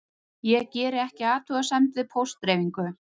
Gerir ekki athugasemd við póstdreifingu